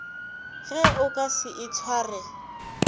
ge o ka se itshware